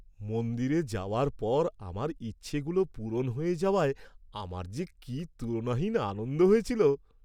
মন্দিরে যাওয়ার পর আমার ইচ্ছাগুলো পূরণ হয়ে যাওয়ায় আমার যে কি তুলনাহীন আনন্দ হয়েছিল!